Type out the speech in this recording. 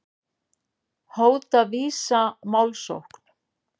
Hóta Visa málsókn